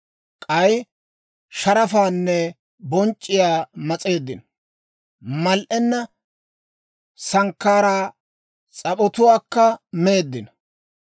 K'ay sharafaanne bonc'c'iyaa mas'eeddino; mal"enna sankkaaraa s'ap'otuwaakka meeddino.